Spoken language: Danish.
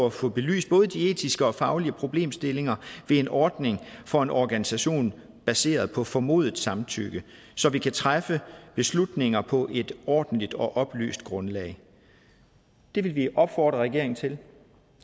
at få belyst både de etiske og de faglige problemstillinger ved en ordning for en organisation baseret på formodet samtykke så vi kan træffe beslutninger på et ordentligt og oplyst grundlag det vil vi opfordre regeringen til